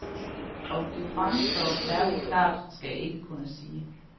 Om det fremstår særligt klart, skal jeg ikke kunne sige.